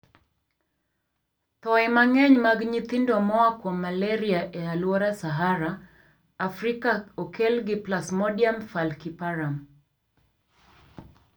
Thoe mang'eny mag nyithindo moa kuom malaria e aluora Sahara, Afrika okel gi Plasmodium falciparum.